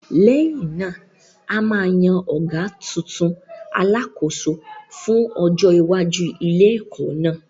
Lẹ́yìn náà, a máa yan ọ̀gá tuntun, Alákòóso, fún ọjọ́ iwájú ilé-ẹ̀kọ́ náà.